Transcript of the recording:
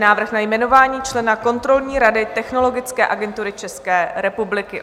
Návrh na jmenování člena kontrolní rady Technologické agentury České republiky